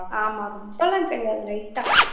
ஆமா ரொம்பெல்லாம் கிடையாது light ஆ